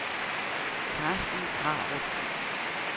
Carsten Krarup